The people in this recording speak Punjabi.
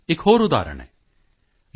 ਇੱਕ ਹੋਰ ਉਦਾਹਰਣ ਹੈ ਯੂ